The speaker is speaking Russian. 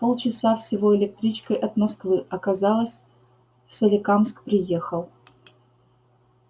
полчаса всего электричкой от москвы а казалось в соликамск приехал